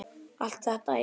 Allt þetta í bland?